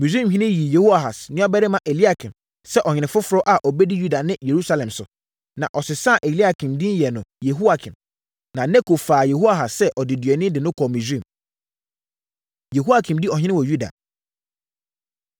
Misraimhene yii Yehoahas nuabarima Eliakim sɛ ɔhene foforɔ a ɔbɛdi Yuda ne Yerusalem so, na ɔsesaa Eliakim din yɛɛ no Yehoiakim. Na Neko faa Yehoahas sɛ ɔdeduani de no kɔɔ Misraim. Yehoiakim Di Ɔhene Wɔ Yuda